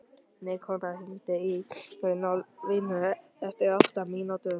Nikanor, hringdu í Runólfínu eftir átta mínútur.